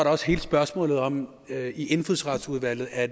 også hele spørgsmålet om om det i indfødsretsudvalget er